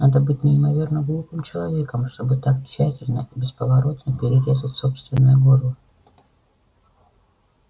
надо быть неимоверно глупым человеком чтобы так тщательно и бесповоротно перерезать собственное горло